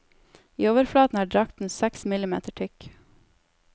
I overflaten er drakten seks millimeter tykk.